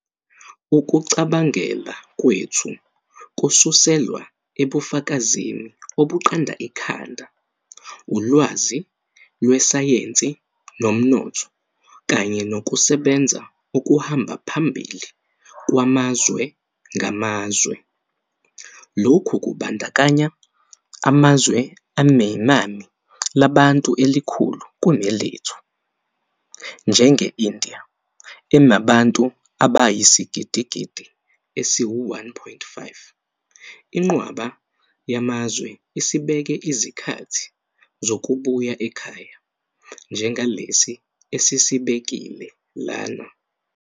Ukucabangela kwethu kususelwa ebufakazini obuqanda ikhanda, ulwazi lwesayensi nomnotho kanye nokusebenza okuhamba phambili kwamazwe ngamazwe. Lokhu kubandakanya amazwe anenani labantu elikhulu kunelethu, njenge-India enabantu abayisigidigidi esi-1.5. Inqwaba yamazwe isibeke izikhathi zokubuya ekhaya njengalesi esisibekile lana.